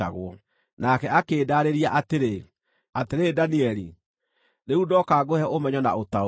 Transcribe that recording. Nake akĩndaarĩria atĩrĩ, “Atĩrĩrĩ Danieli, rĩu ndoka ngũhe ũmenyo na ũtaũku.